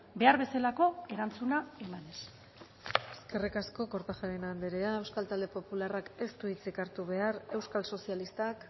behar bezalako erantzuna emanez eskerrik asko kortajarena anderea euskal talde popularrak ez du hitzik hartu behar euskal sozialistak